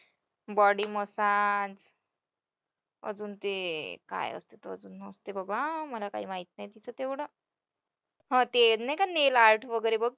body massage अजून ते काय असतं बाबा मला काय माहीत नाही तिचं तेवढं, हा ते नाही का nail art वगैरे बघ.